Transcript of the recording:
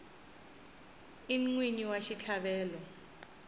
i n wini wa xitlhavelo